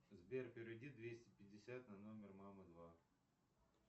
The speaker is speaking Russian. сбер переведи двести пятьдесят на номер мама два